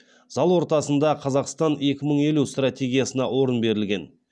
зал ортасында қазақстан екі мың елу стратегиясына орын берілген